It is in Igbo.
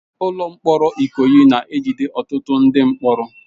Ụlọ mkpọrọ Ikoyi na-ejide ọtụtụ ndị mkpọrọ.